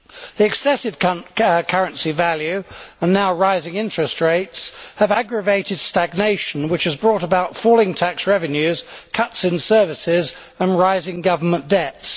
The excessive currency value, and now rising interest rates, have aggravated stagnation, which has brought about falling tax revenues, cuts in services and rising government debts.